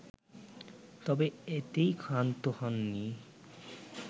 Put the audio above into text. তবে এতেই ক্ষান্ত হননি